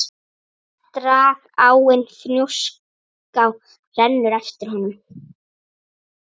Dragáin Fnjóská rennur eftir honum.